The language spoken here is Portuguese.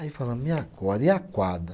Aí falamos, e agora, e a quadra?